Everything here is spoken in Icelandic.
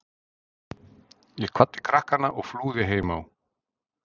Ég kvaddi krakkana og flúði heim á